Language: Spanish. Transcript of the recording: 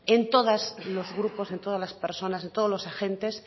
en todos los grupos en todas las personas en todos los agentes